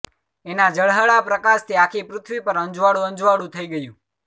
એના ઝળાહળા પ્રકાશથી આખી પૃથ્વી પર અજવાળું અજવાળું થઈ ગયું